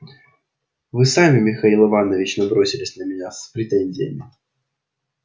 вы сами михаил иванович набросились на меня с претензиями